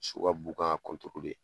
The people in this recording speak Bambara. So ka b'u kan ka